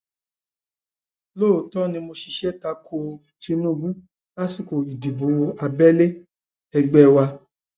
lóòótọ ni mo ṣiṣẹ ta ko um tinubu lásìkò ìdìbò abẹlé um ẹgbẹ wa